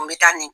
N bɛ taa nin